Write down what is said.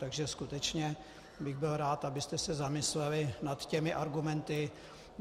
Takže skutečně bych byl rád, abyste se zamysleli nad těmi argumenty.